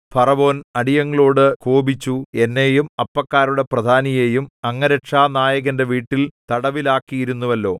ഫറവോൻ അടിയങ്ങളോടു കോപിച്ചു എന്നെയും അപ്പക്കാരുടെ പ്രധാനിയെയും അംഗരക്ഷാനായകന്റെ വീട്ടിൽ തടവിലാക്കിയിരുന്നുവല്ലോ